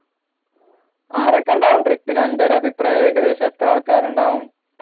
ആരെകിണ്ടാകും trip ന് അൻറഒരു അഭിപ്രായം ഏകദേശം എത്ര ആള്കാരുണ്ടാകും